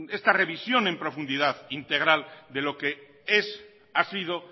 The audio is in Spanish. esta revisión en profundidad integral de lo que es ha sido